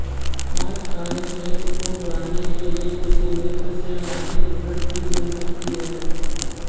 आज कार्यक्षेत्र को बढ़ाने के लिए किसी मित्र से आर्थिक मदद भी मिल सकती है